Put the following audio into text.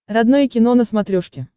родное кино на смотрешке